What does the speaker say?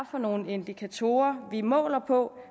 for nogle indikatorer vi måler på